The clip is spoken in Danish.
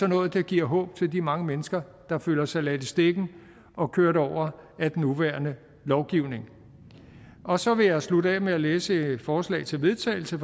noget der giver håb til de mange mennesker der føler sig ladt i stikken og kørt over af den nuværende lovgivning og så vil jeg slutte af med at læse et forslag til vedtagelse